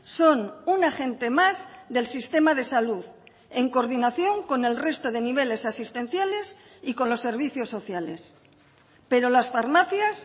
son un agente más del sistema de salud en coordinación con el resto de niveles asistenciales y con los servicios sociales pero las farmacias